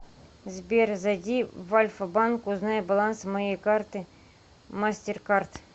сбер зайди в альфа банк узнай баланс моей карты мастеркард